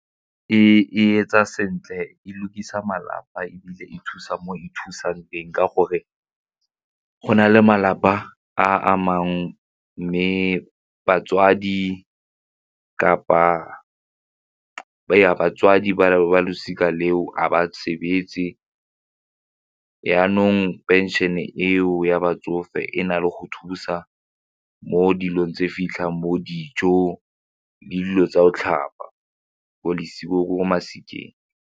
E etsa sentle, e lukisa malapa ebile e thusa mo e thusang teng ka gore go na le malapa a amang mme batswadi kapa ya batswadi ba losika leo a ba sebetse jaanong pension-e eo ya batsofe e na le go thusa mo dilong tse fitlhang mo dijong le dilo tsa o tlhapa .